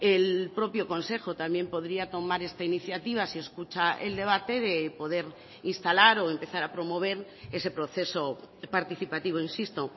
el propio consejo también podría tomar esta iniciativa si escucha el debate de poder instalar o empezar a promover ese proceso participativo insisto